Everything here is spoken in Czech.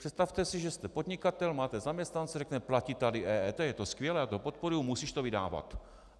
Představte si, že jste podnikatel, máte zaměstnance, řekne platí tady EET, je to skvělé, já to podporuji, musíš to vydávat.